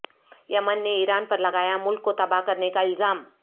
یمن نے ایران پر لگایا ملک کو تباہ کرنے کا الزام